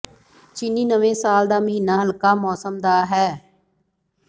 ਚੀਨੀ ਨਵੇਂ ਸਾਲ ਦਾ ਮਹੀਨਾ ਹਲਕਾ ਮੌਸਮ ਦਾ ਹੈ